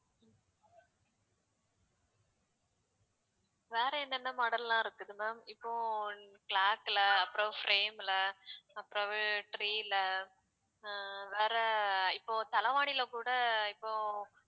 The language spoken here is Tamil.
வேற என்னென்ன model லாம் இருக்குது ma'am இப்போ clock ல அப்புறம் frame ல அப்புறவு tree ல அஹ் வேற இப்போ தலவானில கூட இப்போ